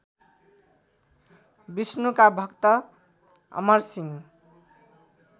विष्णुका भक्त अमरसिंह